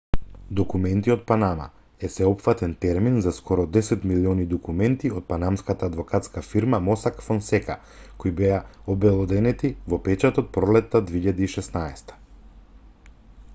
документи од панама е сеопфатен термин за скоро десет милиони документи од панамската адвокатска фирма мосак фонсека кои беа обелоденети во печатот во пролетта 2016